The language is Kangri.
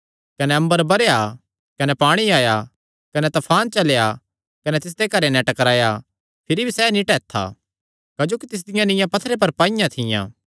कने अम्बर बरैया कने पाणी आया कने तफान चलेया कने तिस घरे नैं टकराया भिरी भी सैह़ नीं टैत्था क्जोकि तिसदियां नीआं पत्थरे पर पाईयां थियां